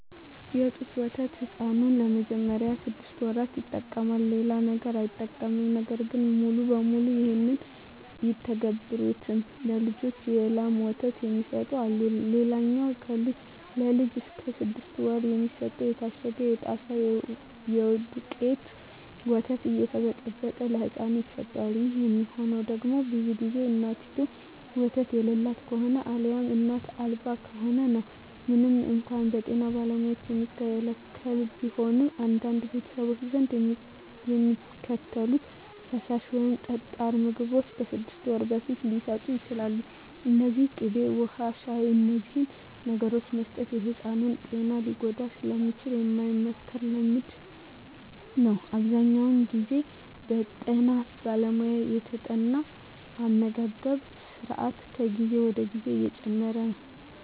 የጡት ወተት ሕፃኑ ለመጀመሪያዎቹ ስድስት ወራት ይጠቀማል። ሌላ ነገር አይጠቀምም። ነገር ግን ሙሉ በሙሉ ይህን አይተገብሩትም። ለልጃቸው የላም ወተት የሚሰጡ አሉ። ሌላኛው ለልጅ እስከ ስድስት ወር የሚሰጠው የታሸገው የጣሳ የደውቄቱ ወተት እየተበጠበጠ ለህፃኑ ይሰጠዋል። ይህ የሚሆነው ደግሞ ብዙ ግዜ እናቲቱ ወተት የላት ከሆነ አልያም እናት አልባ ከሆነ ነው። ምንም እንኳን በጤና ባለሙያዎች የሚከለከል ቢሆንም፣ በአንዳንድ ቤተሰቦች ዘንድ የሚከተሉት ፈሳሽ ወይም ጠጣር ምግቦች ከስድስት ወር በፊት ሊሰጡ ይችላሉ። እነዚህም ቅቤ፣ ውሀ፣ ሻሂ…። እነዚህን ነገሮች መስጠት የሕፃኑን ጤና ሊጎዳ ስለሚችል የማይመከር ልምምድ ነው። አብዛኛውን ግዜ በጠና ባለሙያ የተጠና አመጋገብ ስራት ከጊዜ ወደ ጊዜ እየጨመረ ነው።